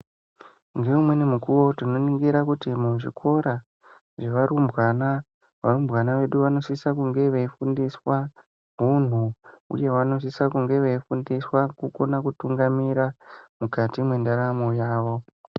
Ngeimweni nguwa tinoningire kti muzvikora zvevarumbwana varumbwana vedu vanosise kunge veifundiswa hunhu uye vanosisa kunge veifundiswa kukona kutungamira mukati mwendaramo yawo.